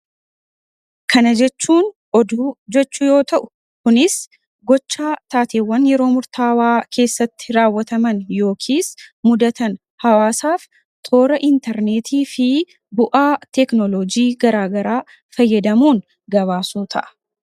Kana jechuun oduu jechuu yoo ta'u kunis gochaa taateewwan yeroo murtaawaa keessatti raawwataman yookiis mudatan hawaasaaf toora intarneetii fi bu'aa teeknolojii garaagaraa fayyadamuun gabaasuu ta'a.